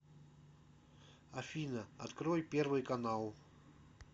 афина открой первый канал